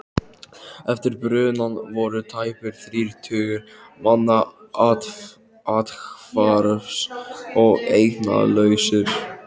Eftir brunann voru tæpir þrír tugir manna athvarfs- og eignalausir.